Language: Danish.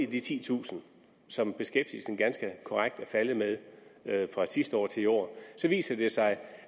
de titusind som beskæftigelsen ganske korrekt er faldet med fra sidste år til i år så viser det sig